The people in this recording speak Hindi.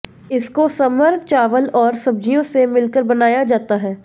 इसको समर चावल और सब्ज़ियों से मिलकर बनाया जाता हैं